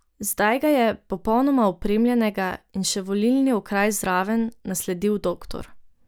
Zdaj ga je, popolnoma opremljenega, in še volilni okraj zraven, nasledil doktor.